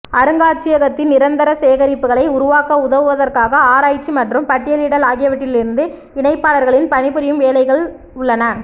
அருங்காட்சியகத்தின் நிரந்தர சேகரிப்புகளை உருவாக்க உதவுவதற்காக ஆராய்ச்சி மற்றும் பட்டியலிடல் ஆகியவற்றிலிருந்து இணைப்பாளர்களின் பணிபுரியும் வேலைகள் உள்ளன